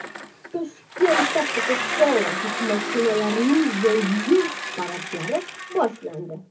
Toshkentda Coca-Cola yuk mashinalarining Yangi yil paradlari boshlandi.